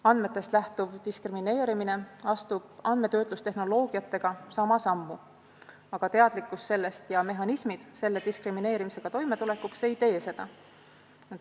Andmetest lähtuv diskrimineerimine astub andmetöötlustehnoloogiatega sama sammu, aga teadlikkus sellest ja mehhanismid selle diskrimineerimisega toimetulekuks ei tee seda.